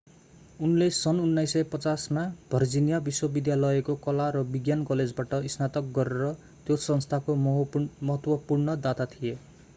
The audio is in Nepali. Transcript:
उनले सन् 1950 मा भर्जिनिया विश्वविद्यालयको कला र विज्ञान कलेजबाट स्नातक गरेर त्यो संस्थाको महत्वपूर्ण दाता थिए